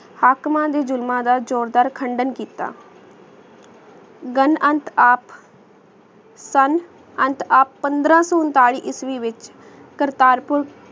ਹਾਕਮ ਦੇ ਜ਼ੁਲਮਾ ਦਾ ਜੋਰਦਾਰ ਕਾਂਡਾਂ ਕਿੱਤਾ ਗਾਂ ਅੰਤ ਆਪ ਸਨ ਅੰਤ ਆਪ ਪੰਦਰਾ ਸੋ ਊਂਤਾਲੀ ਈਸਵੀ ਵਹਿਚ ਕਰਤਾਰ ਪੁਰ